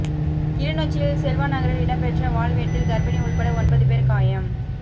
கிளிநொச்சியில் செல்வாநகரில் இடம்பெற்ற வாள் வெட்டில் கர்ப்பிணி உட்பட ஒன்பது பேர் காயம்